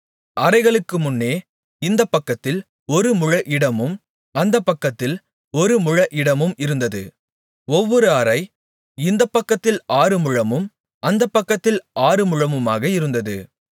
அறைகளுக்குமுன்னே இந்தப்பக்கத்தில் ஒரு முழ இடமும் அந்தப்பக்கத்தில் ஒரு முழ இடமும் இருந்தது ஒவ்வொரு அறை இந்தப்பக்கத்தில் ஆறு முழமும் அந்தப்பக்கத்தில் ஆறுமுழமுமாக இருந்தது